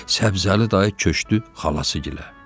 Səbzəli dayı köçdü xalasıgilə.